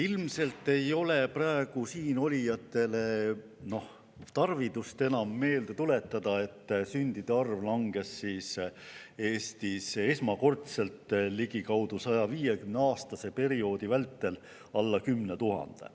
Ilmselt ei ole praegu enam tarvidust siinolijatele meelde tuletada, et sündide arv langes Eestis esmakordselt ligikaudu 150‑aastase perioodi vältel alla 10 000.